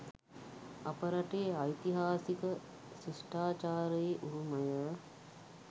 අප රටේ ඓතිහාසික ශිෂ්ඨාචාරයේ උරුමය